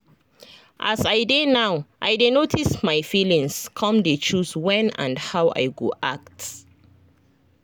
as i dey now i dey notice my feelings come dey choose when and how i go act.